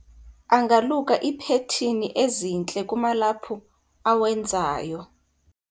angaluka iiphethini ezintle kumalaphu awenzayo